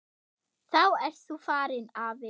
Þá ert þú farinn, afi.